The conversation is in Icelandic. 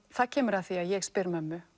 það kemur að því að ég spyr mömmu